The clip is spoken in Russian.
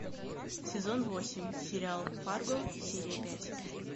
сезон восемь сериал фарго серия пять